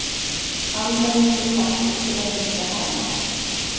Almenningur hvattur til að hengja homma